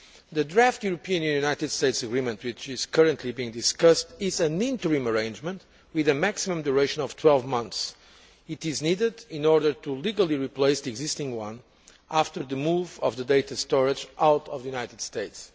The draft European Union United States agreement, which is currently being discussed, is an interim arrangement with a maximum duration of 12 months. It is needed in order to legally replace the existing one after the move of the data storage out of the United States.